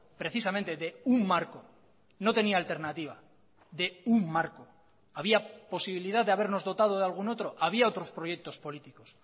precisamente de un marco no tenía alternativa de un marco había posibilidad de habernos dotado de algún otro había otros proyectos políticos